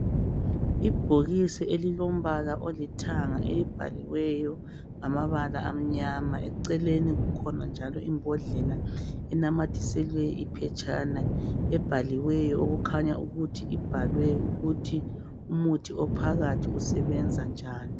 Ibhokisi elilombala olithanga elibhaliweyo ngamabala amnyama eceleni kukhona njalo imbodlela linamathiselwe iphetshana elibhaliweyo ukut umuthi ophakathi usebenza njani